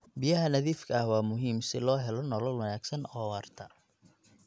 Biyaha nadiifka ah waa muhiim si loo helo nolol wanaagsan oo waarta.